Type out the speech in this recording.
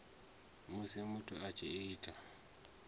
musi muthu a tshi ita